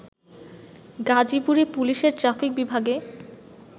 গাজীপুরে পুলিশের ট্রাফিক বিভাগে